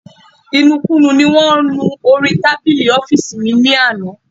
Ìnùkunù ní wọn nú orí tábìlì ọ́fíìsì mi lánàá